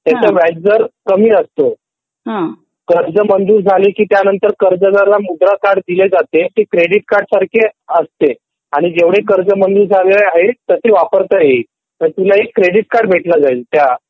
त्याचा व्याजदर कमी असतो कर्ज मंजूर झाले की कर्जदाराला मुद्रा कार्ड दिले जाते ते क्रेडिट कार्ड सारखे असते आणि जेवढे कर्ज मंजूर झाले आहे ते वापरता येईल तुला एक क्रेडिट कार्ड भेटला जाईल त्या